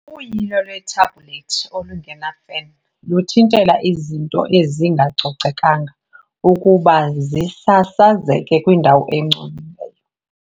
Uyilo lwethabhulethi olungena fan luthintela izinto ezingacocekanga ukuba zisasazeke kwindawo engcolileyo.